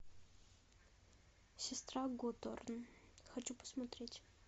сестра готорн хочу посмотреть